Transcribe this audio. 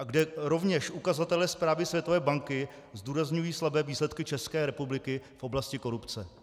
A kde rovněž ukazatele zprávy Světové banky zdůrazňují slabé výsledky České republiky v oblasti korupce.